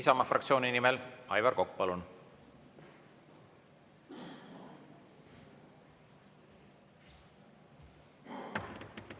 Isamaa fraktsiooni nimel Aivar Kokk, palun!